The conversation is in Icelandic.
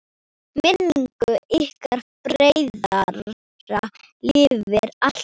Minning ykkar bræðra lifir alltaf!